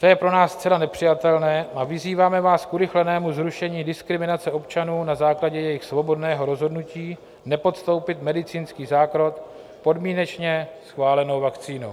To je pro nás zcela nepřijatelné a vyzýváme vás k urychlenému zrušení diskriminace občanů na základě jejich svobodného rozhodnutí nepodstoupit medicínský zákrok podmínečně schválenou vakcínou.